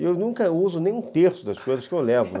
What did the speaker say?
E eu nunca uso nem um terço das coisas que eu levo